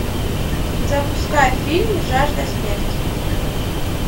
запускай фильм жажда смерти